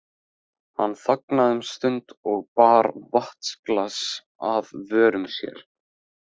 Hann þagnaði um stund og bar vatnsglas að vörum sér.